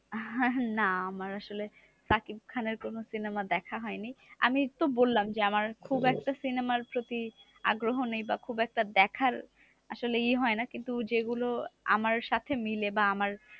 না আমার আসলে সাকিব খানের কোনো cinema দেখা হয়নি। আমি এই তো বললাম যে, আমার খুব একটা cinema র প্রতি আগ্রহ নেই বা খুব একটা দেখার আসলে ই হয়না। কিন্তু যেগুলো আমার সাথে মিলে বা আমার